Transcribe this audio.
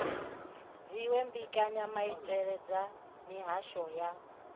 dziwe mbekanyamaitele dza mihasho ya